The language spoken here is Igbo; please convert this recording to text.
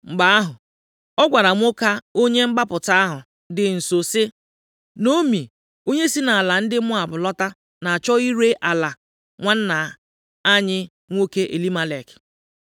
Mgbe ahụ, ọ gwara nwoke onye mgbapụta ahụ dị nso sị, “Naomi, onye si nʼala ndị Moab lọta, na-achọ ire ala nwanna anyị nwoke Elimelek.